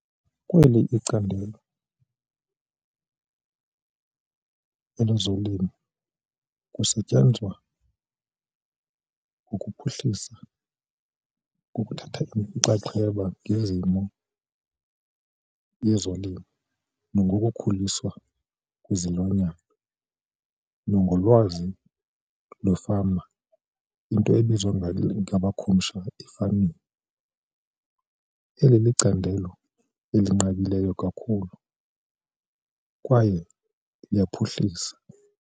Kweli icandelo elezolimo kusetyenzwa ngokuphuhlisa ngokuthatha inxaxheba ngezimo yezolimo nangokukhuliswa kwezilwanyana nangolwazi lwefama into ebizwa ngabakhumsha i-farming. Eli licandelo elinqabileyo kakhulu kwaye liyaphuhlisa.